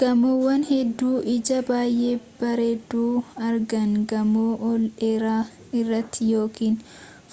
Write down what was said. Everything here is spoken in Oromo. gamoowwan hedduun ijatti baayee bareedu argaan gamoo ol dheeraa irraa yookiin